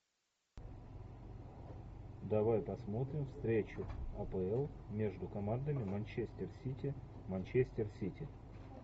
давай посмотрим встречу апл между командами манчестер сити манчестер сити